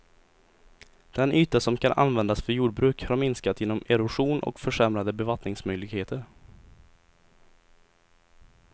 Den yta som kan användas för jordbruk har minskat genom erosion och försämrade bevattningsmöjligheter.